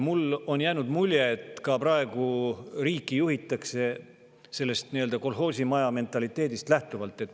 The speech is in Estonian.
Mulle on jäänud mulje, et ka riiki juhitakse praegu sellisest kolhoosimaja mentaliteedist lähtuvalt.